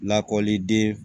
Lakɔliden